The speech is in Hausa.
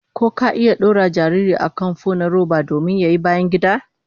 Ka iya dora jariri a kan fo na roba domin yin bayangida?